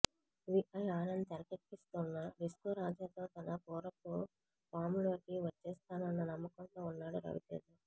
VI Anand తెరకెక్కిస్తోన్న డిస్కోరాజాతో తన పూర్వపు ఫాంలోకి వచ్చేస్తానన్న నమ్మకంతో ఉన్నాడు రవితేజ